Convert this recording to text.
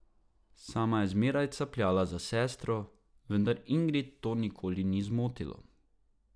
Sama je zmeraj capljala za sestro, vendar Ingrid to nikoli ni zmotilo.